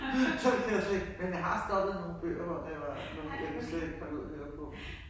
Sådan noget kan jeg slet ikke. Men jeg har stoppet nogen bøger hvor det var jeg kunne slet ikke holde ud at høre på